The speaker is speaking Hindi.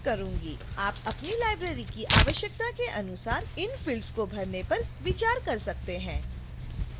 आप अपनी library की आवश्यकता के अनुसार इन fields को भरने पर विचार कर सकते हैं